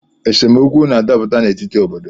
Esemokwu na-adaputa n’etiti obodo